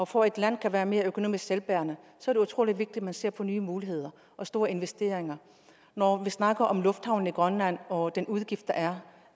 for at et land kan være mere økonomisk selvbærende er det utrolig vigtigt at man ser på nye muligheder og store investeringer når vi snakker om lufthavnene i grønland og den udgift der er